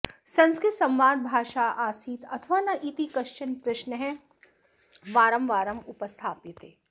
संस्कृतं संवादभाषा आसीत् अथवा न इति कश्चन प्रश्नः वारंवारम् उपस्थाप्यते